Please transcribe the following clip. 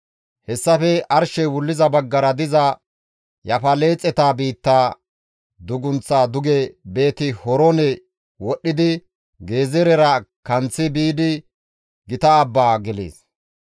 Hessafe arshey wulliza baggara diza Yaafaleexeta biitta dugunththaa duge Beeti-Horoone wodhdhidi Gezeerera kanththi biidi gita Abban gelees.